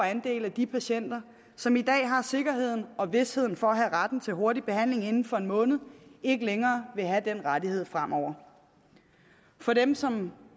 andel af de patienter som i dag har sikkerhed og vished for at have retten til hurtig behandling inden for en måned ikke længere vil have den rettighed fremover for dem som